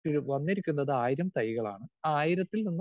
speaker 2 ഉയ്യോ വന്നിരിക്കുന്നത് ആയിരം തൈകളാണ് ആയിരത്തിൽ നിന്നും